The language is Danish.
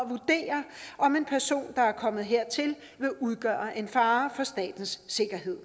at vurdere om en person der er kommet hertil vil udgøre en fare for statens sikkerhed